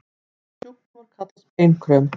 Þessi sjúkdómur kallast beinkröm.